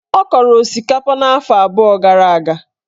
Ọ kọrọ osikapa afọ abụọ gara aga.